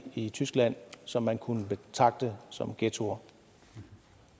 i tyskland som man kunne betragte som ghettoer